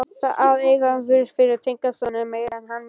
Að eiga mig fyrir tengdason er meira en hann meikar.